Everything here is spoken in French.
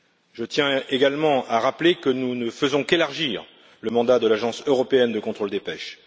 Je tiens également à rappeler que nous ne faisons qu'élargir le mandat de l'Agence européenne de contrôle des pêches.